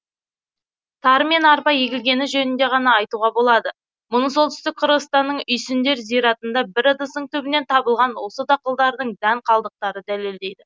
тары мен арпа егілгені жөнінде ғана айтуға болады мұны солтүстік қырғызстанның үйсіндер зиратында бір ыдыстың түбінен табылған осы дақылдардың дән калдықтары дәлелдейді